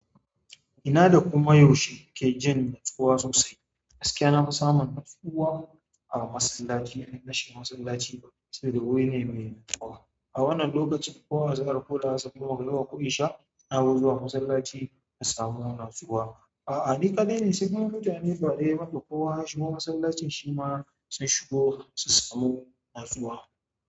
Ina da kuma yaushe ke jin natsuwa sosai. Gaskiya na fi samun natsuwa a masallaci idan nashiga masallaci sabida wuri ne mai natsuwa. A wannan lokaci, kowa azahar, ko la'asar, ko magariba, ko, isha, na fi zuwa masallaci in samu natsuwa. A'a, ni kaɗai ne sai kuma mutane guda bakwai masu zuwa masallacin shi ma sun shigo su samu natsuwa.